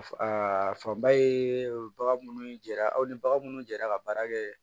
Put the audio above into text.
Aa fanba ye bagan minnu jaara aw ni baga munnu jɛra ka baara kɛ